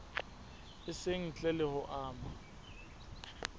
itseng ntle le ho ama